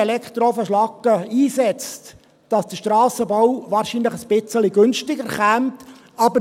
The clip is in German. Es ist so, dass der Strassenbau wahrscheinlich ein wenig günstiger käme, wenn man Elektroofenschlacke einsetzen würde.